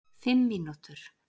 Fimm mínútur